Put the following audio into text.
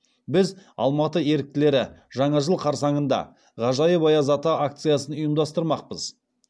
біз алматы еріктілері жаңа жыл қарсаңында ғажайып аяз ата акциясын ұйымдастырмақпыз